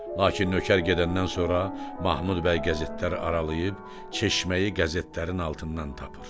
Lakin nökər gedəndən sonra Mahmud bəy qəzetləri aralayıb çeşməyi qəzetlərin altından tapır.